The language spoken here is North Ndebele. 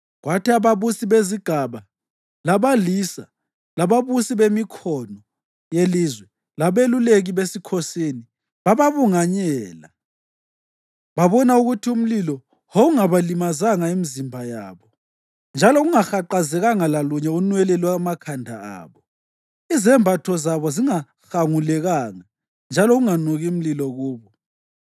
kwathi ababusi bezigaba, labalisa, lababusi bemikhono yelizwe labeluleki besikhosini bababunganyela. Babona ukuthi umlilo wawungabalimazanga imizimba yabo, njalo kungahaqazekanga lalunye unwele lwamakhanda abo; izembatho zabo zingahangulekanga, njalo kunganuki mlilo kubo.